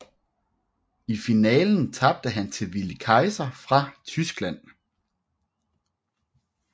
I finalen tabte han til Willi Kaiser fra Tyskland